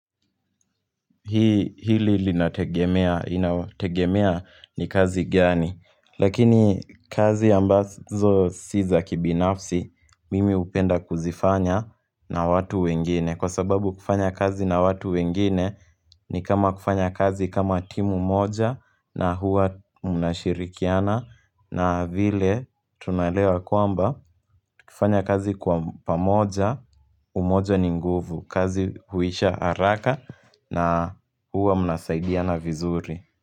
Hili linategemea ni kazi gani. Lakini kazi ambazo si za kibinafsi mimi hupenda kuzifanya na watu wengine. Kwa sababu kufanya kazi na watu wengine ni kama kufanya kazi kama timu moja na huwa mnashirikiana na vile tunaelewa kwamba tukifanya kazi kwa pamoja umoja ni nguvu. Kazi huisha haraka na huwa mnasaidiana vizuri.